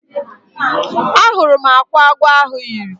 Ahụrụ m akwa agwọ ahụ yiri.